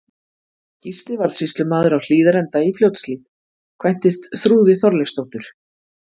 Gísli varð sýslumaður á Hlíðarenda í Fljótshlíð, kvæntist Þrúði Þorleifsdóttur.